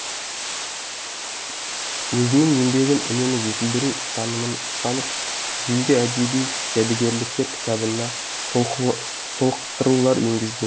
өзінің еңбегін үнемі жетілдіру ұстанымын ұстанып ежелгі әдеби жәдігерліктер кітабына толықтырулар енгізген еді